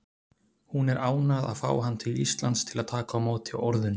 Hún er ánægð að fá hann til Íslands til að taka á móti orðunni.